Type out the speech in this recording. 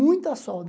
Muita solda.